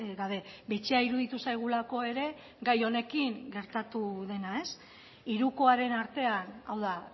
gabe bitxia iruditu zaigulako ere gai honekin gertatu dena hirukoaren artean hau da